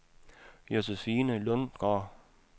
Josephine Lundgaard